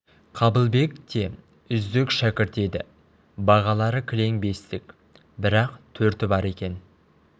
қабылбек те үздік шәкірт еді бағалары кілең бестік бір-ақ төрті бар екен